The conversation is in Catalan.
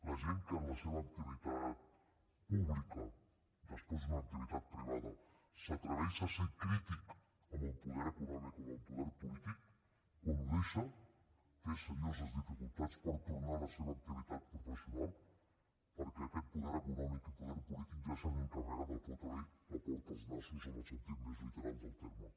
la gent que en la seva activitat pública després d’una activitat privada s’atreveix a ser crític amb el poder econòmic o amb el poder polític quan ho deixa té serioses dificultats per tornar a la seva activitat professional perquè aquests poder econòmic i poder polític ja s’han encarregat de fotre li la porta als nassos en el sentit més literal del terme